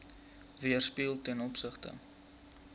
weerspieël ten opsigte